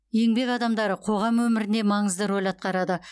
еңбек адамдары қоғам өміріне маңызды рөл атқарады